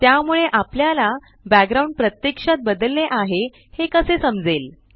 त्यामुळे आपल्याला बॅकग्राउंड प्रत्यक्षात बदलले आहे हे कसे समजेल